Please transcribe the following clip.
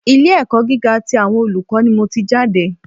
Ilé ẹ̀kọ́ gíga tí àwọn olùkọ́ ni mò tí jáde.